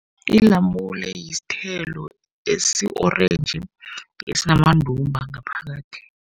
Ilamule yisithelo esi-orentji, esinamandumba ngaphakathi.